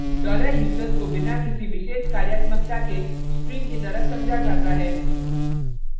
$user को बिना किसी विशेष कार्यात्मकता के string की तरह समझा जाता है